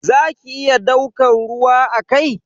Za ki iya daukan ruwa a kai?